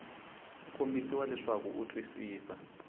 ku kombisa leswaku u twisisa